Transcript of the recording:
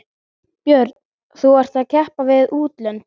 Björn: Þú ert að keppa við útlönd?